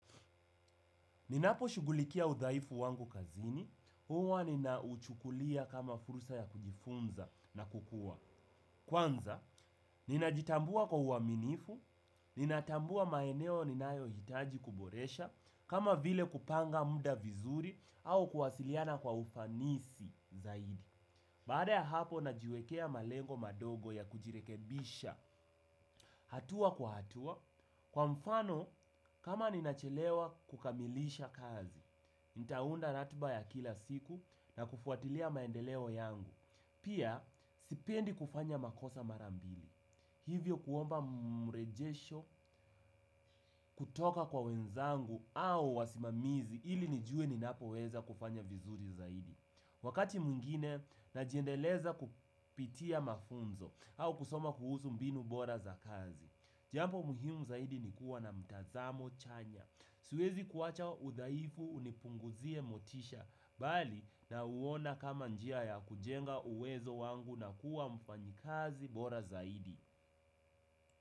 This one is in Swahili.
Ninapo shugulikia udhaifu wangu kazini, huwa ninauchukulia kama fursa ya kujifunza na kukua. Kwanza, ninajitambua kwa uwaminifu, ninatambua maeneo ninayo hitaji kuboresha, kama vile kupanga muda vizuri au kuwasiliana kwa ufanisi zaidi. Baada ya hapo, najiwekea malengo madogo ya kujirekebisha hatua kwa hatua. Kwa mfano, kama ninachelewa kukamilisha kazi, nitaunda ratiba ya kila siku na kufuatilia maendeleo yangu. Pia, sipendi kufanya makosa marambili. Hivyo kuomba mrejesho kutoka kwa wenzangu au wasimamizi ili nijue ninapo weza kufanya vizuri zaidi. Wakati mwingine, najiendeleza kupitia mafunzo au kusoma kuhusu mbinu bora za kazi. Jambo muhimu zaidi nikuwa na mtazamo chanya. Siwezi kuwacha udhaifu unipunguzie motisha, bali nauona kama njia ya kujenga uwezo wangu na kuwa mfanyikazi bora zaidi.